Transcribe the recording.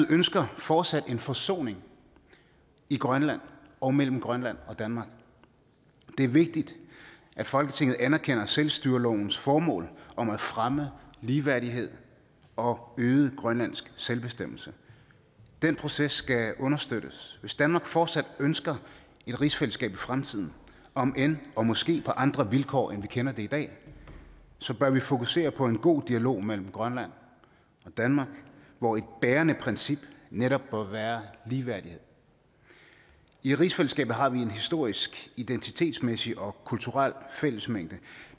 ønsker fortsat en forsoning i grønland og mellem grønland og danmark det er vigtigt at folketinget anerkender selvstyrelovens formål om at fremme ligeværdighed og øget grønlandsk selvbestemmelse den proces skal understøttes hvis danmark fortsat ønsker et rigsfællesskab i fremtiden om end og måske på andre vilkår end vi kender det i dag bør vi fokusere på en god dialog mellem grønland og danmark hvor et bærende princip netop må være ligeværdighed i rigsfællesskabet har vi en historisk identitetsmæssig og kulturel fællesmængde